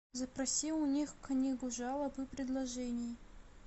запроси у них книгу жалоб и предложений